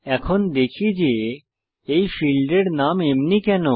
এখন দেখি যে এই ফীল্ডসের নাম এমনি কেন